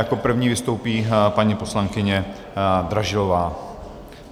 Jako první vystoupí paní poslankyně Dražilová.